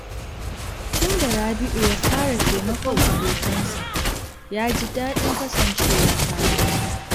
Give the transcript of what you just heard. Tun da Rabi’u ya fara taimakon abokansa, ya ji daɗin kasancewa tare da su.